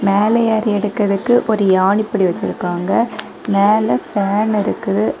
மேல ஏறி எடுக்கறதுக்கு ஒரு யானிபடி வச்சிருக்காங்க மேல பேன் இருக்கு.